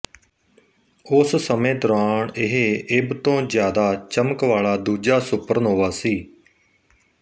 ਉਸ ਸਮੇਂ ਦੌਰਾਨ ਇਹ ਇਭ ਤੋਂ ਜ਼ਿਆਦਾ ਚਮਕ ਵਾਲਾ ਦੂਜਾ ਸੁਪਰਨੋਵਾ ਸੀ